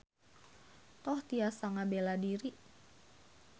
Toh tiasa ngabela diri.